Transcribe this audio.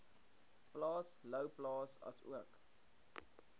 plaas louwplaas asook